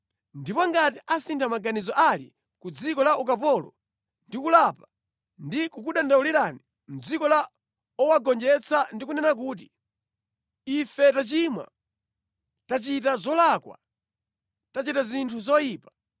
ndipo ngati asintha maganizo ali ku dziko la ukapololo ndi kulapa ndi kukudandaulirani mʼdziko la owagonjetsa ndi kunena kuti, ‘Ife tachimwa, tachita zolakwa, tachita zinthu zoyipa,’